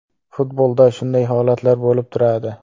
Futbolda shunday holatlar bo‘lib turadi.